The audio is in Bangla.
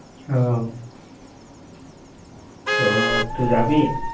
ও, তো তুই যাবি?